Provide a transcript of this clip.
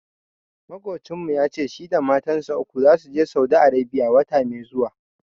Maƙocinmu ya ce shi da matansa uku zasu Saudi Arebiya, wata mai zuwa.